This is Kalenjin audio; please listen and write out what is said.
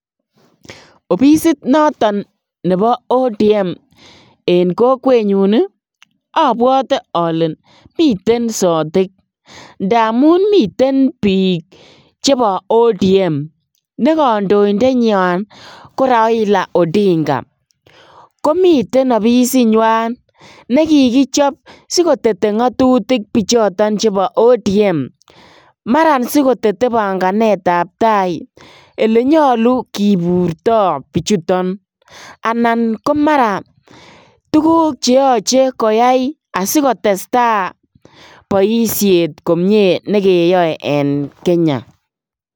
Obisit noton nebo ODM en kokwenyun obwote olee miten sotik ndamun miten biik chebo ODM nekondoindenywan ko Raila Odinga, komiten ofisinywan nekikichop sikotete ng'otutik bichoton chebo ODM, mara sikotete bang'anetab taai elenyolu kiburto bichuton anan komara tukuk cheyoche koyai asikotesta boishet komnye nekeyoe en Kenya.